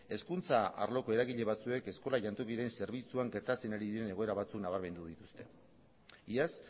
hezkuntza arloko eragile batzuek eskola jantokiren zerbitzuan gertatzen ari diren egoera batzuk nabarmendu dituzte iaz